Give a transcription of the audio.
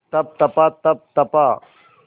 तप तपा तप तपा